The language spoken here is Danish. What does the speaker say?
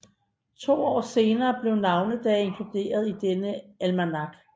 To år senere blev navnedage inkluderet i denne almanak